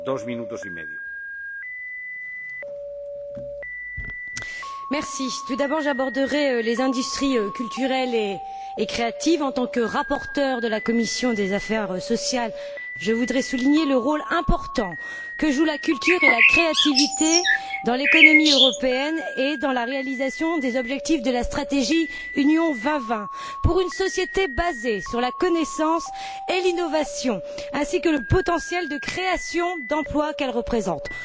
Monsieur le Président, tout d'abord, j'aborderai les industries culturelles et créatives. En tant que rapporteure de la commission de l'emploi et des affaires sociales, je voudrais souligner le rôle important que jouent la culture et la créativité dans l'économie européenne et pour la réalisation des objectifs de la stratégie Europe 2020, pour une société basée sur la connaissance et l'innovation, ainsi que le potentiel de création d'emplois qu'elles représentent.